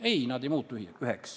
Ei, nad ei ole üheks muutunud.